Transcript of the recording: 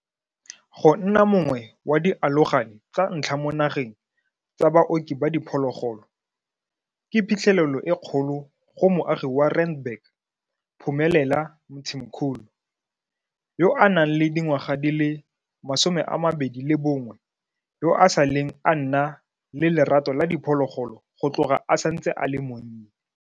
Go nna mongwe wa dialogane tsa ntlha mo nageng tsa baoki ba diphologolo ke phitlhelelo e kgolo go moagi wa Randburg, Phumelela Mthimkhulu, yo a nang le dingwaga di le 21, yo a saleng a nna le lerato la diphologolo go tloga a santse a le monnye.